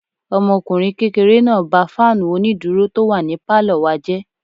Ọmọkùnrin kékeré náà ba fáànù onídúró tó wà ní pálọ̀ wa jẹ́